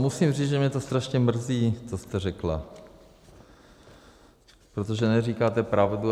Musím říct, že mě to strašně mrzí, co jste řekla, protože neříkáte pravdu.